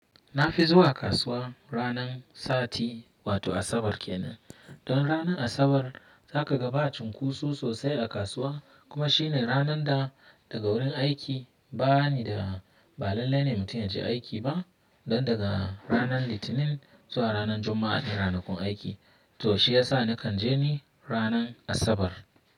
Na fi zuwa kasuwa ranar sati wato Asabar kenan. Don ranar Asabar za ka ga ba cunkoso sosai a kasuwa kuma shi ne ranar da daga wurin aiki ba ni da ba lallai ne mutum ya je aiki ba. Don daga ranar Litinin zuwa ranar Juma’a ne ranakun aiki. To shi ya sa na kan je ni ranar Asabar.